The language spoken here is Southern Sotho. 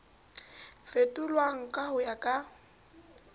fetolwang ka ho ya ka